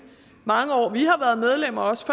mange år vi har været medlem og også